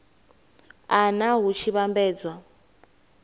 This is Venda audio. a nha hu tshi vhambedzwa